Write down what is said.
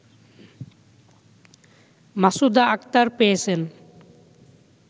মাসুদাআক্তার পেয়েছেন